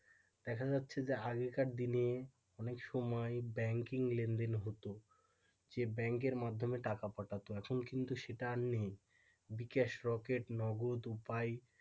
দেখা যাচ্ছে যে আগেকার দিনে এ অনেক সময় ব্যাংকিং লেনদেন হতো যে ব্যাংকের মাধ্যমে টাকা পাঠাত এখন কিন্তু সেটা আর নেই বিকাশ নগদ উপায়,